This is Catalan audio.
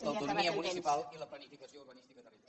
l’autonomia municipal i la planificació urbanística territorial